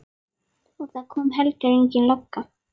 Og það kom heldur engin lögga.